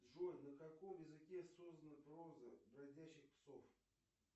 джой на каком языке создана проза бродячих псов